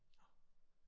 Nåh